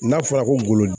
N'a fɔra ko golo